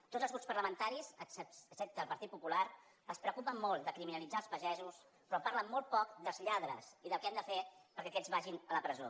tots els grups parlamentaris excepte el partit popular es preocupen molt de criminalitzar els pagesos però parlen molt poc dels lladres i del que hem de fer perquè aquests vagin a la presó